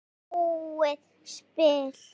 Þetta var búið spil.